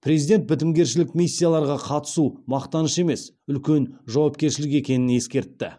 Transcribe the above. президент бітімгершілік миссияларға қатысу мақтаныш емес үлкен жауапкершілік екенін ескертті